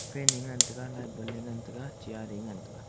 fan ae ngan taga light bulb ae ngan taga chair ae ngan taega.